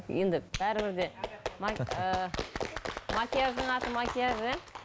енді бәрібір де макияждың аты макияж иә